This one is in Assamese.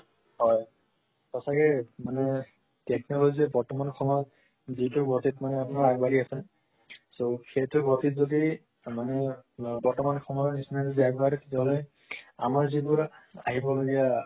হয় সচাকে মানে technology যে বৰ্তমান সময়ত দ্ৰুত গতিত মানে আপোনাৰ আগবাঢ়ি আছে so সেইটো গতিত যতি মানে বৰ্তমান সময়ৰ নিচিনা যদি আগবাঢ়ে তেতিয়া হলে আমাৰ যিবোৰ আহিব লগিয়া